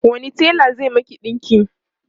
wani tela zai Miki ɗinki?